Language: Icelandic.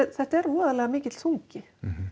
þetta er voðalega mikill þungi